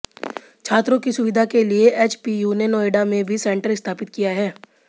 छात्रों की सुविधा के लिए एचपीयू ने नोएडा में भी सेंटर स्थापित किया है